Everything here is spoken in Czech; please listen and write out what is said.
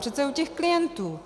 Přece u těch klientů!